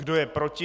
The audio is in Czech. Kdo je proti?